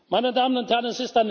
Meine Damen und Herren,